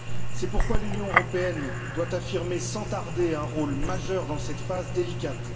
C'est pourquoi l'Union européenne doit jouer sans tarder un rôle majeur dans cette phase délicate.